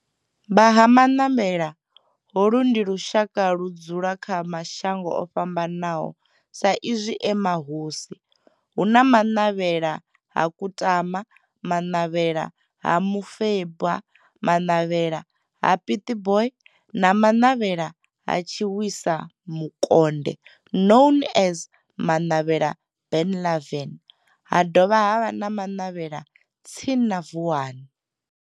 Vha Ha-Manavhela, holu ndi lushaka ludzula kha mashango ofhambanaho sa izwi e mahosi hu na Manavhela ha Kutama, Manavhela ha Mufeba, Manavhela ha Pietboi na Manavhela ha Tshiwisa Mukonde known as Manavhela Benlavin ha dovha havha na Manavhela tsini na Vuwani.